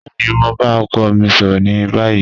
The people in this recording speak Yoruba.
Bẹẹni, mo n ba ọkọ mi sọrọ ni bayi.